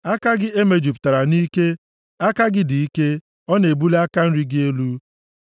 Aka gị ka e mejupụtara nʼike; aka gị dị ike, a na-ebuli aka nri gị elu.